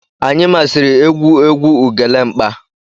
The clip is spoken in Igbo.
Anyi masiri egwu egwu Ugelemkpa.